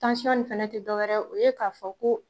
Tansiɔn in fana tɛ dɔwɛrɛ ye, o ye k'a fɔ ko